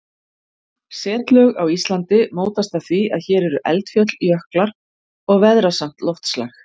Setlög á Íslandi mótast af því að hér eru eldfjöll, jöklar og veðrasamt loftslag.